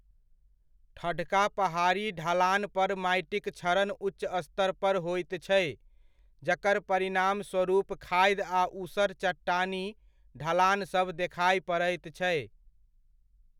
ठढ़का पहाड़ी ढलानपर माटिक क्षरण उच्च स्तरपर होइत छै, जकर परिणामस्वरूप खाधि आ ऊसर चट्टानी ढलानसभ देखाय पड़ैत छै।